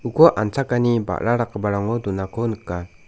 an·chakani ba·ra dakgiparango donako nika.